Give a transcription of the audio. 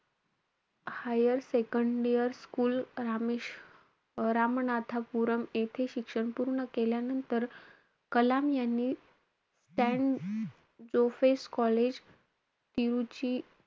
Higher second year school रामे~ रामनाथपुरम येथे शिक्षण पूर्ण केल्यांनतर, कलाम यांनी सॅन जोसेफ कॉलेज पीयुजी,